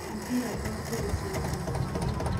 Mũbira to tu gũcindana nĩ gĩkeno.